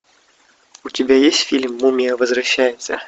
у тебя есть фильм мумия возвращается